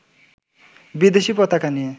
বিদেশী পতাকা নিয়ে